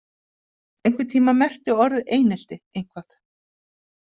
Einhvern tíma merkti orðið einelti eitthvað.